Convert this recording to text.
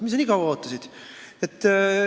Mis sa nii kaua ootasid?